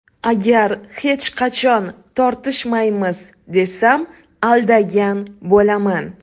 Agar hech qachon tortishmaymiz, desam aldagan bo‘laman.